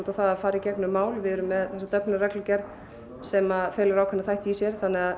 það að fara í gegnum mál við erum með þessa Dyflinnarreglugerð sem felur ákveðna þætti í sér